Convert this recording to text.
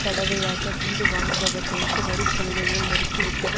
தடவையாக வீடு வாங்குபவர்களுக்கு வரி சலுகைகளை நிறுத்தி விட்டது